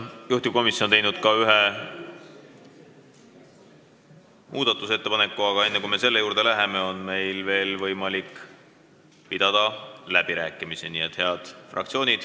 Juhtivkomisjon on teinud eelnõu kohta ka ühe muudatusettepaneku, aga enne kui me selle juurde läheme, on võimalik pidada läbirääkimisi.